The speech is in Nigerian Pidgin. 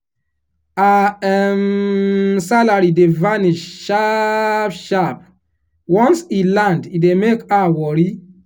her um salary dey vanish sharp sharp once e land e dey make her worry.